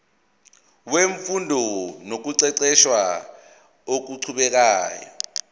wemfundo nokuqeqesha okuqhubekayo